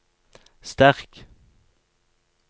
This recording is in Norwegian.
sterk